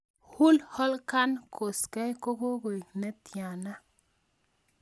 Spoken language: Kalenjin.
Hulk Hogan koskey ko goi ne tiana